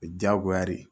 O ye diyagoya de ye